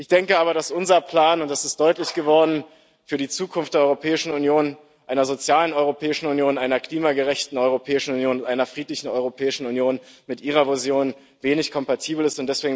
Ich denke aber, dass unser Plan und das ist deutlich geworden für die Zukunft der Europäischen Union, einer sozialen Europäischen Union, einer klimagerechten Europäischen Union und einer friedlichen Europäischen Union, mit Ihrer Vision wenig kompatibel ist.